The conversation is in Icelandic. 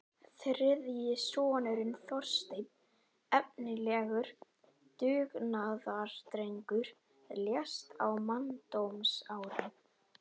Þriðji sonurinn, Þorsteinn, efnilegur dugnaðardrengur, lést á manndómsárunum.